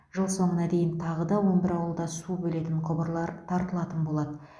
жыл соңына дейін тағы да он бір ауылда су бөлетін құбырлар тартылатын болады